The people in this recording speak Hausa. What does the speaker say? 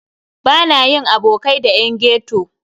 Bana yin abokai da yan ghetto.